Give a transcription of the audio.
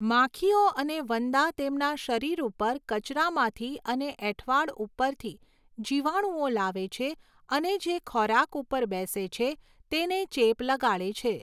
માખીઓ અને વંદા તેમના શરીર ઉપર કચરામાંથી અને એઠવાડ ઉપરથી જીવાણુંઓ લાવે છે અને જે ખોરાક ઉપર બેસે છે તેને ચેપ લગાડે છે.